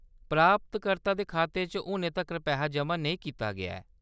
प्राप्तकर्ता दे खाते च हुनै तक्कर पैहा जमा नेईं कीता गेआ ऐ।